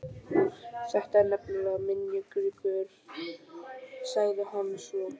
Þetta er nefnilega minjagripur sagði hann svo.